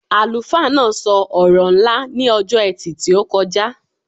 Àlùfáà náà so ọ̀rọ̀ ńlá ní ọjọ́ etì tí o kọjá